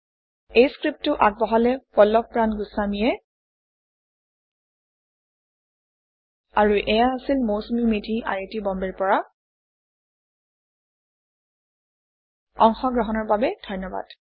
এই পাঠটি পল্লভ প্ৰান গুস্ৱামী দ্ৱাৰা যোগদান কৰা হৈছে এইয়া হৈছে Mousumi Medhi I I T বম্বেৰ পৰা অংশগ্ৰহণৰ বাবে ধন্যবাদ